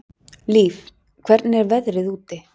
Líf, hvernig er veðrið úti?